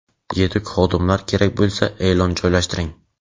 Yetuk xodimlar kerak bo‘lsa, eʼlon joylashtiring!.